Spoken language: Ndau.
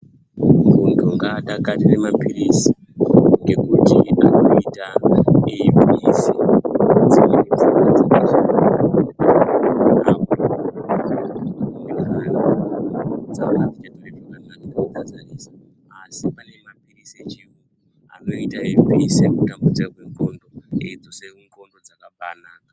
Muntu ngadakarire maphilizi, ekuti unokona kuite eibudisa dzimweni mvura asi panemaphiplizi echiyungu anoita kuti abvise kutambudza kwe ndxondo eidzosa ndxondo dzakabaanaka.